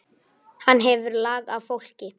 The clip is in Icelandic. Hann hefur lag á fólki.